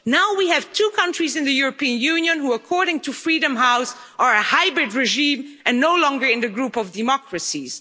Now we have two countries in the European Union who, according to Freedom House, are a hybrid regime and no longer in the group of democracies.